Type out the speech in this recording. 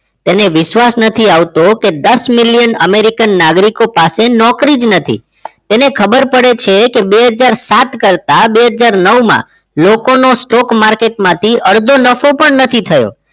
તેને વિશ્વાસ નથી આવતો કે દસ million American નાગરિકો પાસે નોકરી જ નથી તેને ખબર પડે છે કે બે હજાર સાત કરતા બે હજાર નવ માં લોકોનું stock market માંથી અડધો નફો પણ નથી થયો